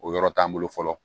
O yɔrɔ t'an bolo fɔlɔ